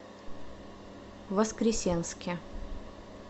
воскресенске